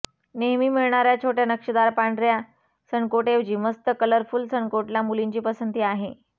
नेहमी मिळणाऱ्या छोट्या नक्षीदार पांढऱ्या सनकोटऐवजी मस्त कलरफुल सनकोटला मुलींची पसंती असते